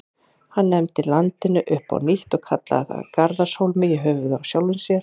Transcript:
Hann nefndi landið upp á nýtt og kallaði það Garðarshólma, í höfuðið á sjálfum sér.